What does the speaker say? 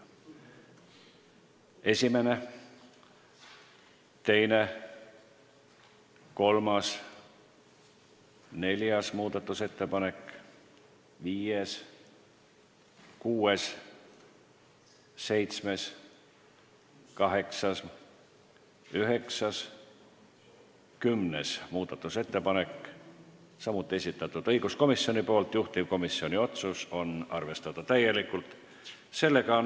Esimene, teine, kolmas, neljas, viies, kuues, seitsmes, kaheksas, üheksas, kümnes muudatusettepanek, juhtivkomisjoni otsus: arvestada täielikult.